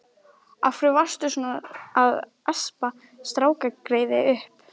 Af hverju varstu svo sem að espa strákgreyið upp?